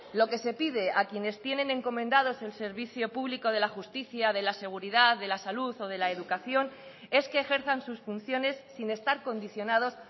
lo que se pide a quienes tienen encomendados el servicio público de la justicia de la seguridad de la salud o de la educación es que ejerzan sus funciones sin estar condicionados